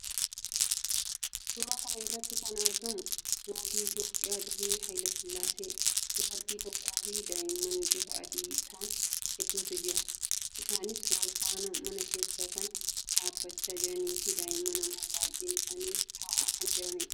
Suuraa kana irratti kan argamu mootii Itoophiyaa durii Haayilee Sillaasee, dubartii tokkoo fi daa'imman bifaan adii ta'an hedduutu jira. Isaannis wal faana mana keessa kan dhaabbachaa jiranii fi daa'imman immoo baayyeen isaanii taa'aa kan jiraniidha.